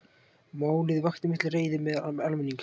Málið vakti mikla reiði meðal almennings